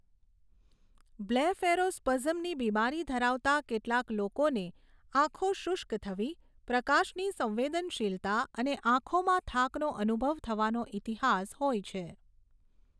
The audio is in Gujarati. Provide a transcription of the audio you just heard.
બ્લેફેરોસ્પઝમની બીમારી ધરાવતા કેટલાક લોકોને આંખો શુષ્ક થવી, પ્રકાશની સંવેદનશીલતા અને આંખોમાં થાકનો અનુભવ થવાનો ઇતિહાસ હોય છે.